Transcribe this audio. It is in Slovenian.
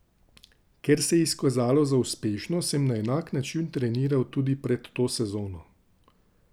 Ker se je izkazalo za uspešno, sem na enak način treniral tudi pred to sezono.